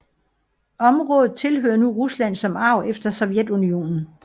Området tilhører nu Rusland som arv efter Sovjetunionen